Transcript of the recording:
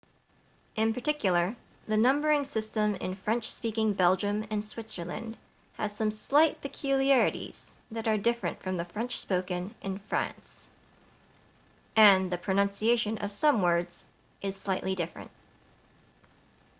in particular the numbering system in french-speaking belgium and switzerland has some slight peculiarities that are different from the french spoken in france and the pronunciation of some words is slightly different